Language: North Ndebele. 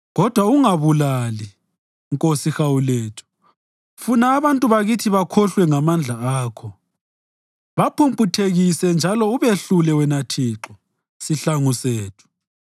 Kodwa ungababulali, Nkosi hawu lethu, funa abantu bakithi bakhohlwe. Ngamandla akho baphumputhekise njalo ubehlule wena Thixo, sihlangu sethu.